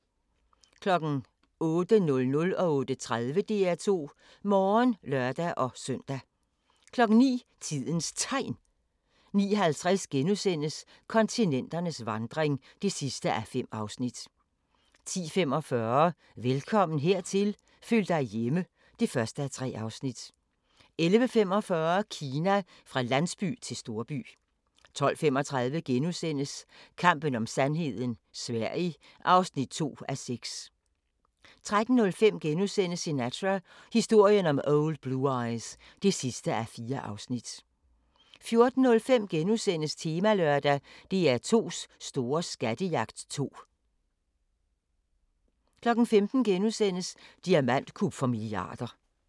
08:00: DR2 Morgen (lør-søn) 08:30: DR2 Morgen (lør-søn) 09:00: Tidens Tegn 09:50: Kontinenternes vandring (5:5)* 10:45: Velkommen hertil – føl dig hjemme (1:3) 11:45: Kina: Fra landsby til storby 12:35: Kampen om sandheden - Sverige (2:6)* 13:05: Sinatra – historien om Old Blue Eyes (4:4)* 14:05: Temalørdag: DR2's store skattejagt 2 * 15:00: Diamantkup for milliarder *